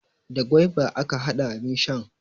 Da gwaiba aka hada abin shan.